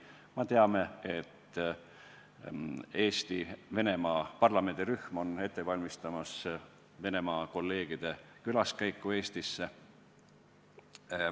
Me teame, et Eesti-Venemaa parlamendirühm on ette valmistamas Venemaa kolleegide külaskäiku Eestisse.